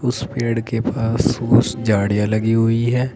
उस पेड़ के पास झाड़ियां लगी हुई हैं।